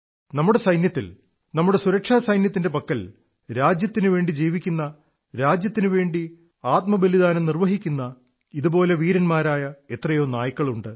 നമ്മുടെ സൈന്യത്തിൽ നമ്മുടെ സുരക്ഷാസൈന്യത്തിന്റെ പക്കൽ രാജ്യത്തിനുവേണ്ടി ജീവിക്കുന്ന രാജ്യത്തിനുവേണ്ടി ആത്മബലിദാനം നിർവ്വഹിക്കുന്നു ഇതുപോലെ വീരന്മാരായ എത്രയോ നായ്ക്കളുണ്ട്